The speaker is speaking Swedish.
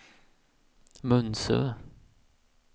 Munsö